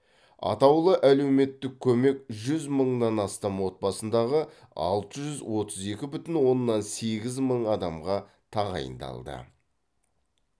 атаулы әлеуметтік көмек жүз мыңнан астам отбасындағы алты жүз отыз екі бүтін оннан сегіз мың адамға тағайындалды